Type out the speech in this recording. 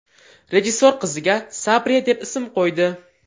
Rejissor qiziga Sabriya deb ism qo‘ydi.